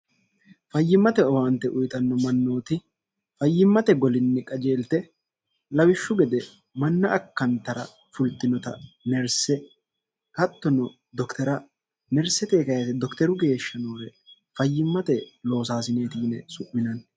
fayyimmate owaante uyixanno mannooti fayyimmate golinni qajeelte lawishshu gede manna akkantara fulxinota nerse hattono doktera nerseteikyete dokteru geeshsha noore fayyimmate loosaasineeti yine su'minanni